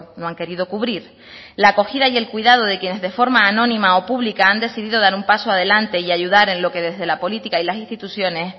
no han querido cubrir la acogida y el cuidado de quienes de forma anónima o pública han decidido dar un paso adelante y ayudar en lo que desde la política y las instituciones